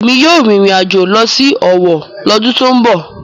Èmi yóò rìnrìn àjò lọ sí Owo lọ́dún tó ń bọ̀.